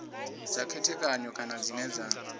dza khethekanywa kana dzine dza